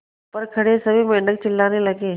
ऊपर खड़े सभी मेढक चिल्लाने लगे